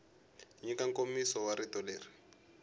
nyika nkomiso wa rito leri